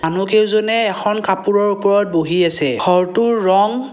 মানুহকেইজনে এখন কাপোৰৰ ওপৰত বহি আছে ঘৰটোৰ ৰঙ